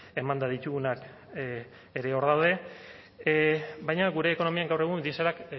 emanda ditugunak ere hor daude baina gure ekonomian gaur egun dieselak